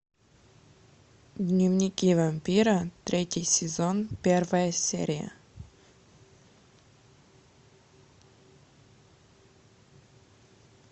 дневники вампира третий сезон первая серия